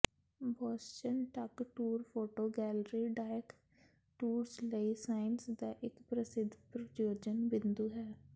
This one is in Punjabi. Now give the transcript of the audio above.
Boston duck tour photo gallery ਡਾਇਕ ਟੂਰਸ ਲਈ ਸਾਇੰਸ ਦਾ ਇਕ ਪ੍ਰਸਿੱਧ ਪ੍ਰਯੋਜਨ ਬਿੰਦੂ ਹੈ